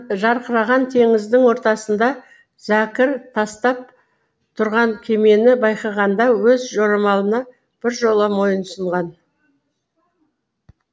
жарқыраған теңіздің ортасында зәкір тастап тұрған кемені байқағанда өз жорамалына біржола мойынсұнған